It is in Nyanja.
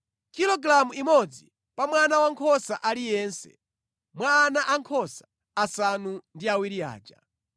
Kilogalamu imodzi pa mwana wankhosa aliyense mwa ana ankhosa asanu ndi awiri aja.